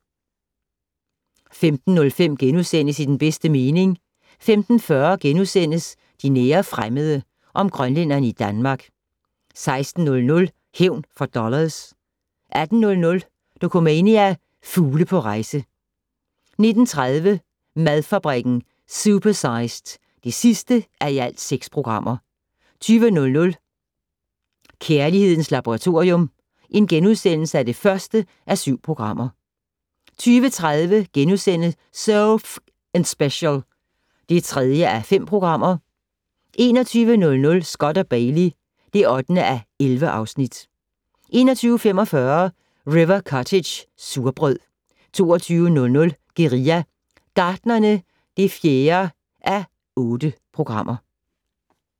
15:05: I den bedste mening * 15:40: De nære fremmede - om grønlændere i Danmark * 16:00: Hævn for dollars 18:00: Dokumania: Fugle på rejse 19:30: Madfabrikken - supersized (6:6) 20:00: Kærlighedens Laboratorium (1:7)* 20:30: So F***ing Special (3:5)* 21:00: Scott & Bailey (8:11) 21:45: River Cottage - surbrød 22:00: Guerilla Gartnerne (4:8)